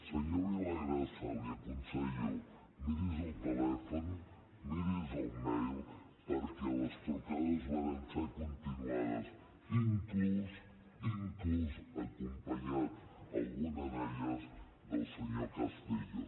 senyor villagrasa l’hi aconsello miri’s el telèfon miri’s el mail perquè les trucades varen ser continuades inclús inclús acompanyat en alguna d’elles del senyor castillo